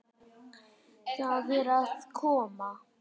Það er að koma!